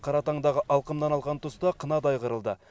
қаратаңдақ алқымнан алған тұста қынадай қырылды